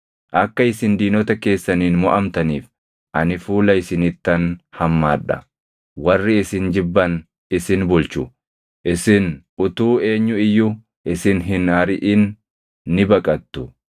Akka isin diinota keessaniin moʼamtaniif ani fuula isinittan hammaadha; warri isin jibban isin bulchu; isin utuu eenyu iyyuu isin hin ariʼin ni baqattu.